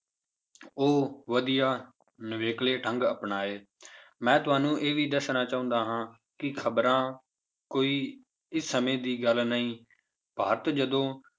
ਉਹ ਵਧੀਆ ਨਵੇਕਲੇੇ ਢੰਗ ਅਪਣਾਏ ਮੈਂ ਤੁਹਾਨੂੰ ਇਹ ਵੀ ਦੱਸਣਾ ਚਾਹੁੰਦਾ ਹਾਂ ਕਿ ਖ਼ਬਰਾਂ ਕੋਈ ਇਸ ਸਮੇਂ ਦੀ ਗੱਲ ਨਹੀਂ ਭਾਰਤ ਜਦੋਂ